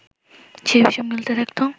সে বিষম ঢুলতে থাকত